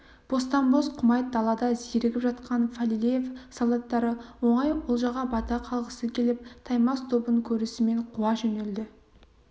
бостан-бос құмайт далада зерігіп жатқан фалилеев солдаттары оңай олжаға бата қалғысы келіп таймас тобын көрісімен қуа жөнелді